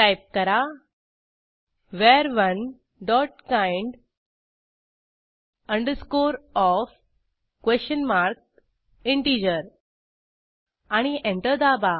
type करा वर1 dot kind of question mark integer आणि एंटर दाबा